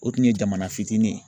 O tun ye jamana fitinin ye